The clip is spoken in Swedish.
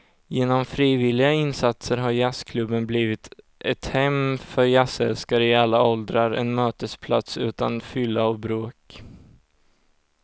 Genom frivilliga insatser har jazzklubben blivit ett hem för jazzälskare i alla åldrar, en mötesplats utan fylla och bråk.